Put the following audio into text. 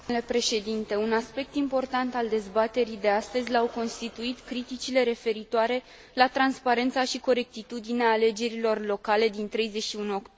Un aspect important al dezbaterii de astăzi l au constituit criticile referitoare la transparența și corectitudinea alegerilor locale din 31 octombrie.